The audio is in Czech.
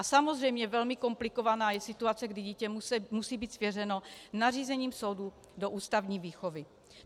A samozřejmě velmi komplikovaná je situace, kdy dítě musí být svěřeno nařízením soudu do ústavní výchovy.